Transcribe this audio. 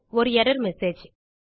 ஒரு error message